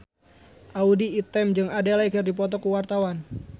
Audy Item jeung Adele keur dipoto ku wartawan